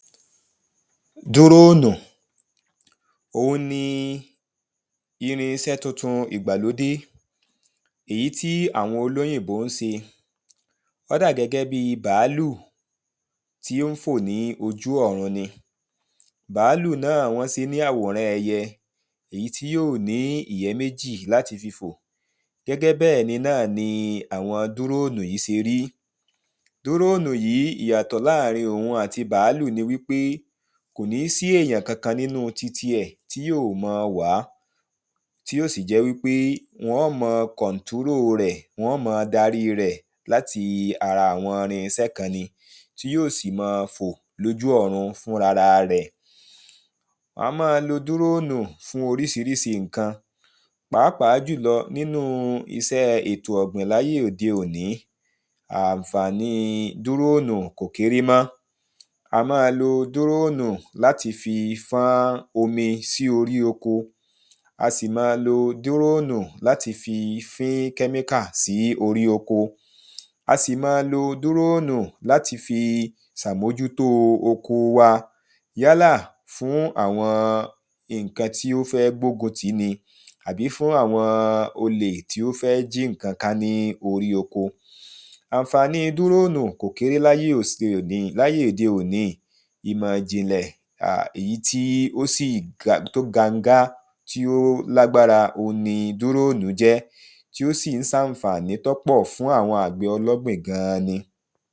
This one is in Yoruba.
Dúroonù, òun ni irinṣẹ́ tuntun ìgbàlódé èyí ti awon olóyìnbó ṣe. O da gẹ́gẹ́ bí bàálù ti o n fo ni ojú́ ọ̀run ni. Bàálù náà, wọn ṣe ni àwòrán ẹyẹ, èyí ti yòó ní ìyẹ́ méjì láti fi fo Gẹ́gẹ́ bẹ́ ni náà ni awọn dúroonù yi ṣe ri. Dúroonù yi ìyàtọ̀ láàrin òun ati bàálù ni wi pe, kò ni si èyàn kankan nínú ti ti ẹ̀ tí yoo má wà a Ti yo sì jẹ́ wi pe wọn má kọ̀ntírò rẹ̀, wọn má darí rẹ̀ lati ara awọn irinṣẹ́ kan ni, ti yóò ma fò loju ọ̀run fún ara rẹ̀ A maa lo dúroonù fún oríṣiríṣi nkan, pàápàá julọ ninu iṣẹ́ ètò ọ̀gbìn laye odé òni. Ánfàní dúroonù kò kere mọ A maa lo dúroonù lati fí fán omi si orí oko. A si maa lo dúroonù lati fin kẹ́miíka sí orí oko. A si maa lo dúroonù lati fi sà moju tó oko wa. Yala fún awọn nkan ti o fẹ́ gbógun ti ni, àbí fún awọn ole ti o fẹ́ jí nkan ká ni oko Ánfàní dúroonù kò kere laye odé òni, Ìmọ̀ ijìnlẹ̀ èyí to gángá ti o lágbára òun ni dúroonù jẹ́ ti o si n ṣanfàni tọ pọ fún awọn àgbẹ̀ ọlọ́gbin gan an ni.